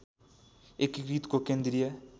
एकीकृतको केन्द्रीय